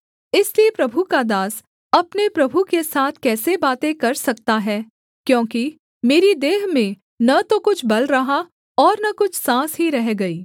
इसलिए प्रभु का दास अपने प्रभु के साथ कैसे बातें कर सकता है क्योंकि मेरी देह में न तो कुछ बल रहा और न कुछ साँस ही रह गई